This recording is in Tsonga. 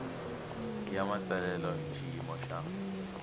ya matsalelo hi xiyimo xa